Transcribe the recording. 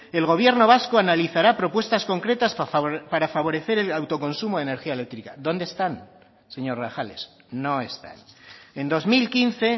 el gobierno vasco analizara propuestas concretas para favorecer el autoconsumo de energía eléctrica dónde están señor grajales no están en dos mil quince